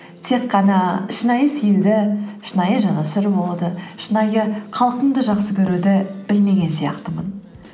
тек қана шынайы сүюді шынайы жанашыр болуды шынайы халқымды жақсы көруді білмеген сияқтымын